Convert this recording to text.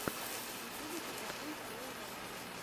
в ютюбе покажи флоу райду